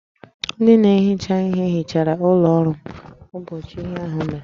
Ndị na-ehicha ihe hichara ụlọ ọrụ m ụbọchị ihe ahụ mere